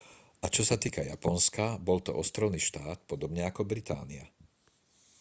a čo sa týka japonska bol to ostrovný štát podobne ako británia